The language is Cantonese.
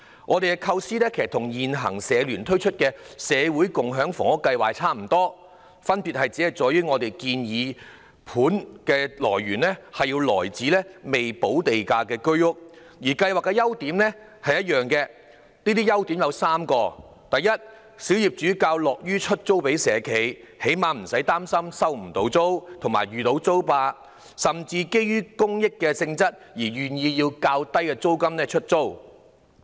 我們的構思與香港社會服務聯會現時推出的"社會房屋共享計劃"差不多，分別只在於我們建議的租盤來源是未補地價的居屋，而兩項計劃同樣有3個優點，包括：第一，小業主較樂意把單位出租給社企，最少無需擔心收不到租金及遇到"租霸"，他們甚至會基於公益性質而願意以較低租金出租。